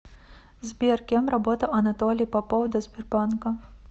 сбер кем работал анатолий попов до сбербанка